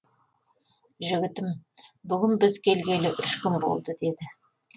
жігітім бүгін біз келгелі үш күн болды деді